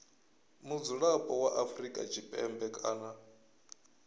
mudzulapo wa afrika tshipembe kana